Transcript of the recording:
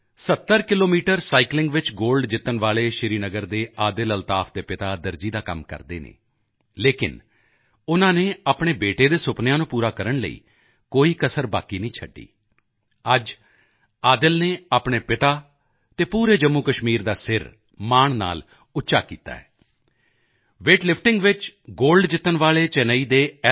70 kilometre cycling ਵਿੱਚ gold ਜਿੱਤਣ ਵਾਲੇ ਸ੍ਰੀਨਗਰ ਦੇ ਆਦਿਲ ਅਲਤਾਫ ਦੇ ਪਿਤਾ ਦਰਜੀ ਦਾ ਕੰਮ ਕਰਦੇ ਹਨ ਲੇਕਿਨ ਉਨ੍ਹਾਂ ਨੇ ਆਪਣੇ ਬੇਟੇ ਦੇ ਸੁਪਨਿਆਂ ਨੂੰ ਪੂਰਾ ਕਰਨ ਲਈ ਕੋਈ ਕਸਰ ਬਾਕੀ ਨਹੀਂ ਛੱਡੀ ਅੱਜ ਆਦਿਲ ਨੇ ਆਪਣੇ ਪਿਤਾ ਅਤੇ ਪੂਰੇ ਜੰਮੂਕਸ਼ਮੀਰ ਦਾ ਸਿਰ ਮਾਣ ਨਾਲ ਉੱਚਾ ਕੀਤਾ ਹੈ ਵੇਟ ਲਿਫਟਿੰਗ ਵਿੱਚ ਗੋਲਡ ਜਿੱਤਣ ਵਾਲੇ ਚੇਨਈ ਦੇ ਐੱਲ